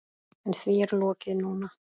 En því er lokið núna.